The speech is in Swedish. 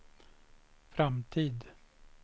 framtid